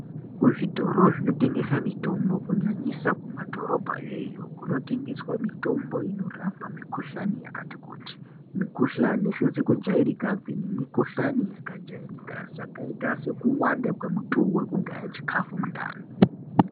Kuzvitoro zvinotengesa mitombo kunyanyisa kumadhorobha kweyo, kunotengeswa mitombo inorape mikuhlani yakati kuti, mikuhlani sezikujairika kweni mukuhlani yakajairika yakaita sekuwanda kwemituwu wekugaya chikafu mundani.